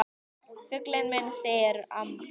Fuglinn minn, segir mamma.